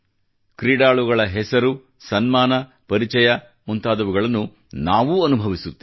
ಕ್ರೀಡಾಳುಗಳ ಹೆಸರು ಸನ್ಮಾನ ಪರಿಚಯ ಮುಂತಾದವುಗಳನ್ನು ನಾವೂ ಅನುಭವಿಸುತ್ತೇವೆ